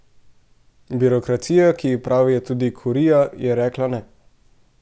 Birokracija, ki ji pravijo tudi kurija, je rekla ne.